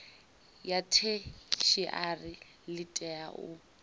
ya theshiari ḽi tea u